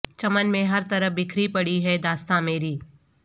چمن میں ہر طرف بکھری پڑی ہے داستاں میری